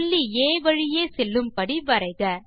புள்ளி ஆ வழியே செல்லும்படி வரைக